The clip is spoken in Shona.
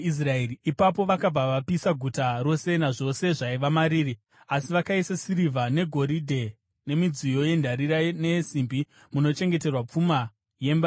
Ipapo vakabva vapisa guta rose nazvose zvaiva mariri, asi vakaisa sirivha negoridhe nemidziyo yendarira neyesimbi munochengeterwa pfuma yemba yaJehovha.